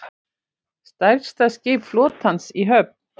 Stærsta skip flotans í höfn